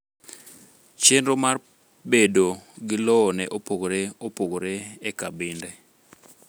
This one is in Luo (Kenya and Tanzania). Chenro mar pedo gi lowo ne opogore opogore e kabinde